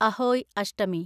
Ahoi Ashtami